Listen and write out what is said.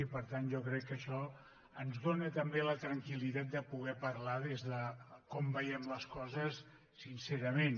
i per tant jo crec que això ens dóna també la tranquil·litat de poder parlar de com veiem les coses sincerament